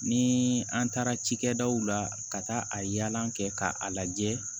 Ni an taara cikɛdaw la ka taa a yaala kɛ k'a lajɛ